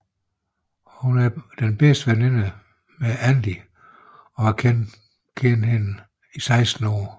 Hun er bedste veninde med Andy og har kendt hende i 16 år